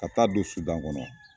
Ka taa don sudan kɔnɔ